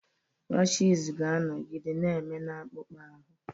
Rashịz ga-anọgide na-eme na-akpụkpọ ahụ.